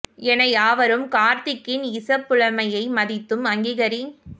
ள் என யாவரும் கார்திக்கின் இசப் புலமையைமதித்தும் அங்கீகரித்